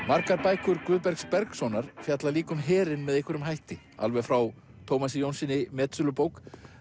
margar bækur Guðbergs Bergssonar fjalla líka um herinn með einhverjum hætti alveg frá Tómasi Jónssyni metsölubók